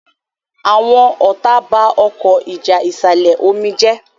Àwọn ọta bá Ọkọ́ ìjà ìsàlẹ̀-omi yí Jé.